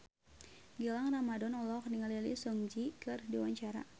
Gilang Ramadan olohok ningali Lee Seung Gi keur diwawancara